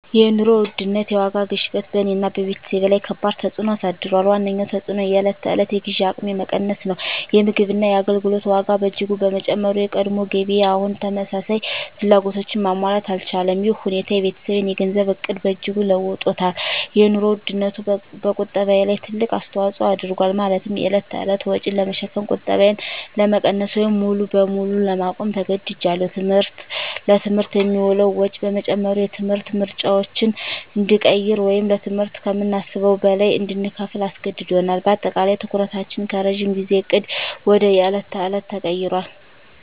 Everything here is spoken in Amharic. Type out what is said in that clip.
የኑሮ ውድነት (የዋጋ ግሽበት) በእኔና በቤተሰቤ ላይ ከባድ ተፅዕኖ አሳድሯል። ዋነኛው ተፅዕኖ የዕለት ተዕለት የግዢ አቅሜ መቀነስ ነው። የምግብና የአገልግሎት ዋጋ በእጅጉ በመጨመሩ፣ የቀድሞ ገቢዬ አሁን ተመሳሳይ ፍላጎቶችን ማሟላት አልቻለም። ይህ ሁኔታ የቤተሰቤን የገንዘብ ዕቅድ በእጅጉ ለውጦታል - የኑሮ ውድነቱ በቁጠባዬ ላይ ትልቅ አስተዋጽኦ አድርጓል፤ ማለትም የዕለት ተዕለት ወጪን ለመሸፈን ቁጠባዬን ለመቀነስ ወይም ሙሉ በሙሉ ለማቆም ተገድጃለሁ። ትምህርት: ለትምህርት የሚውለው ወጪ በመጨመሩ፣ የትምህርት ምርጫዎችን እንድንቀይር ወይም ለትምህርት ከምናስበው በላይ እንድንከፍል አስገድዶናል። በአጠቃላይ፣ ትኩረታችን ከረጅም ጊዜ ዕቅድ ወደ የዕለት ተዕለት ተቀይሯል።